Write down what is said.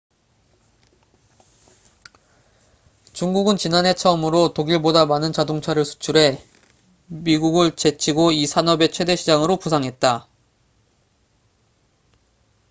중국은 지난해 처음으로 독일보다 많은 자동차를 수출해 미국을 제치고 이 산업의 최대 시장으로 부상했다